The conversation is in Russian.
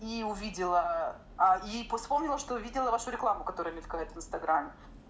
и увидела а и по вспомнила что увидела вашу рекламу которая мелькает в инстаграме